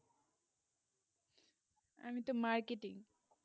আমি তো marketing